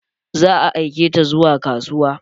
Za a aike ta zuwa kasuwa.